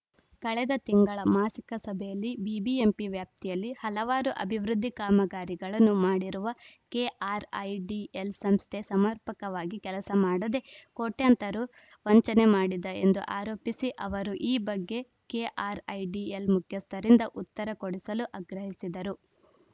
ಕಳೆದ ತಿಂಗಳ ಮಾಸಿಕ ಸಭೆಯಲ್ಲಿ ಬಿಬಿಎಂಪಿ ವ್ಯಾಪ್ತಿಯಲ್ಲಿ ಹಲವಾರು ಅಭಿವೃದ್ಧಿ ಕಾಮಗಾರಿಗಳನ್ನು ಮಾಡಿರುವ ಕೆಆರ್‌ಐಡಿಎಲ್‌ ಸಂಸ್ಥೆ ಸಮರ್ಪಕವಾಗಿ ಕೆಲಸ ಮಾಡದೆ ಕೋಟ್ಯಂತರ ರು ವಂಚನೆ ಮಾಡಿದೆ ಎಂದು ಆರೋಪಿಸಿದ ಅವರು ಈ ಬಗ್ಗೆ ಕೆಆರ್‌ಐಡಿಎಲ್‌ ಮುಖ್ಯಸ್ಥರಿಂದ ಉತ್ತರ ಕೊಡಿಸಲು ಅಗ್ರಹಿಸಿದರು